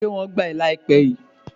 Ṣé wọ́n gbà wá láìpé yìí?